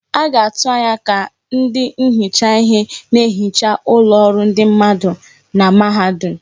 A ga na-atụ anya ka ndị nhicha ihe na-ehicha ụlọ ọrụ ndị mmadụ na mahadum.